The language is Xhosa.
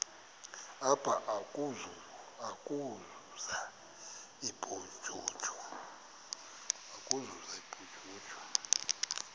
apha ukuzuza ubujuju